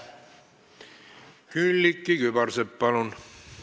Külliki Kübarsepp, palun!